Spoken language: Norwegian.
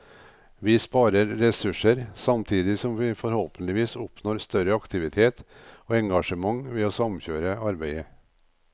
Vi sparer ressurser, samtidig som vi forhåpentligvis oppnår større aktivitet og engasjement ved å samkjøre arbeidet.